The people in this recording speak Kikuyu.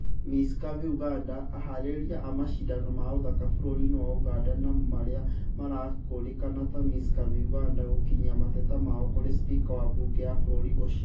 Miss curvy Uganda:Aharĩrĩria a macindano ma ũthaka bũrũri-inĩ wa Uganda na marĩa marakũrĩkana ta miss curvy Uganda gũkinyia mateta mao kũrĩ spika wa mbunge ya bũrũri ũcio